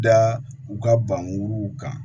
Da u ka banguruw kan